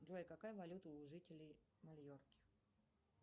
джой какая валюта у жителей майорки